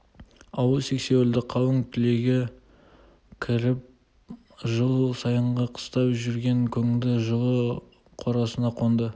ауыл сексеуілді қалың түлейге кіріп жыл сайынғы қыстап жүрген көңді жылы қорасына қонды